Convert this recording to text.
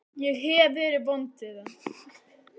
Ég hef verið vond við hann.